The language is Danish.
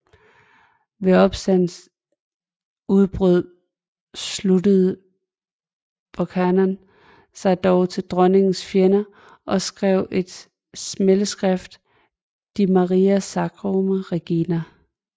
Ved opstandens udbrud sluttede Buchanan sig dog til dronningens fjender og skrev et smædeskrift De Maria Scotorum regina